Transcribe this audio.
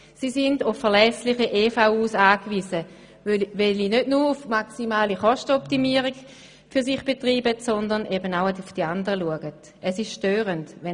Nun sind sie auf verlässliche Elektrizitätsversorgungsunternehmen angewiesen, die nicht nur maximale Kostenoptimierung für sich betreiben, sondern auch an die anderen denken.